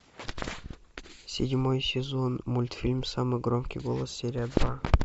седьмой сезон мультфильм самый громкий голос серия два